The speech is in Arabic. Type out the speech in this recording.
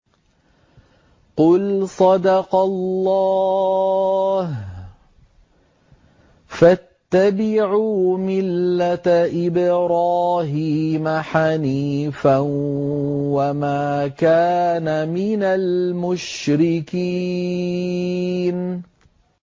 قُلْ صَدَقَ اللَّهُ ۗ فَاتَّبِعُوا مِلَّةَ إِبْرَاهِيمَ حَنِيفًا وَمَا كَانَ مِنَ الْمُشْرِكِينَ